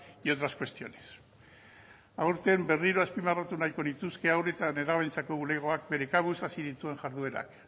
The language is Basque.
y otras cuestiones aurten berriro azpimarratu nahiko nituzke haur eta nerabeentzako bulegoak bere kabuz hasi dituen jarduerak